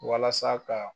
Walasa ka